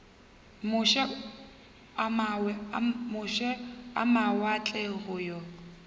moše a mawatle go yo